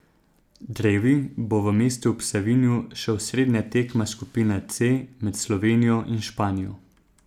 Drevi bo v mestu ob Savinji še osrednja tekma skupine C med Slovenijo in Španijo.